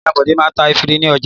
Ìyà Bọ̀dé máa ń ta efirin ní ọjà.